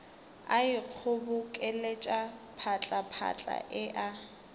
a ikgobokeletša phatlaphatla e a